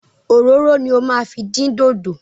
Òróró ni o máa fi din dodo.